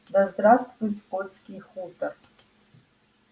да здравствует скотский хутор